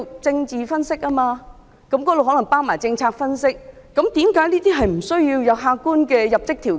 政治分析可能包括政策分析，為何不需要客觀的入職條件？